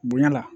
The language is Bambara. Bonya la